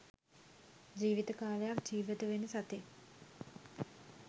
ජීවිත කාලයක් ජීවත් වෙන සතෙක්